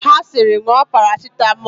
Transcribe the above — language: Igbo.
Ha sịrị, ṅụọ parasitamọlụ!